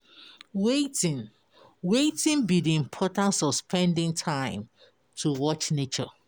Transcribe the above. Wetin Wetin be di importance of spending time to watch nature?